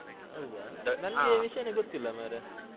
ಹೌದಾ ನಂಗೆ ವಿಷಯಾನೇ ಗೊತ್ತಿಲ್ಲಾ ಮಾರೆ.